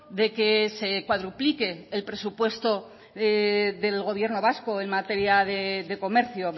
de que se cuadruplique el presupuesto del gobierno vasco en materia de comercio